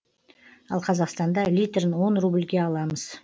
ал қазақстанда литрін он рубльге аламыз